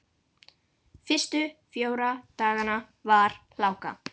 Fyrstu fjóra dagana var hláka.